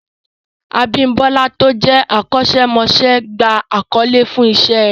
Abímbọ́lá tó jẹ́ akọ́ṣẹ́mọṣẹ́ gba àkọlé fún Iṣẹ́ rẹ̀